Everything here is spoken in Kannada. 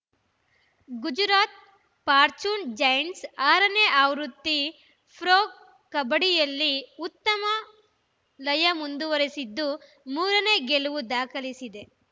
ಗುಜರಾತ್‌ ಫಾರ್ಚೂನ್‌ಜೈಂಟ್ಸ್‌ ಆರನೇ ಆವೃತ್ತಿ ಪ್ರೊ ಕಬಡ್ಡಿಯಲ್ಲಿ ಉತ್ತಮ ಲಯ ಮುಂದುವರಿಸಿದ್ದು ಮೂರ ನೇ ಗೆಲುವು ದಾಖಲಿಸಿದೆ